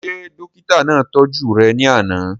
Ṣé dókítà náà tọ́jú rẹ̀ ní àná?